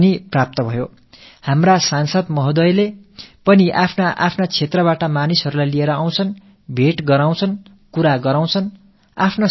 நமது மன்ற உறுப்பினர்களும் கூட தத்தமது தொகுதிகளில் இருக்கும் மக்களை அழைத்து வந்து சந்திக்கச் செய்கிறார்கள் தங்களது இடர்களைப் பற்றித் தெரிவிக்கிறார்கள்